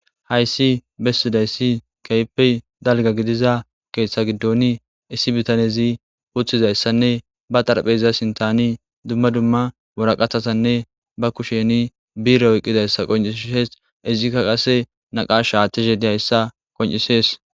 hayssi bessidayssi keype dalga gidiza keeththa giddoni issi bitanezi wuththizayssanne ba xarpheyza sintani dumma dumma woraqathatanne ba kusheni biira oqqizayssa qoncishes izikka qase naqash shaathtishe diyayssa qoncisees